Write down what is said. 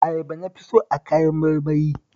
Ayaba na fi so a kayan marmari